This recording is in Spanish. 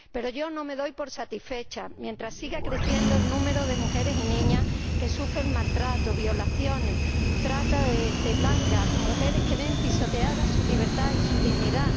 Pero yo no me doy por satisfecha mientras siga creciendo el número de mujeres y niñas que sufren maltrato, violaciones, trata de blancas, mujeres que ven pisoteadas su libertad y su dignidad.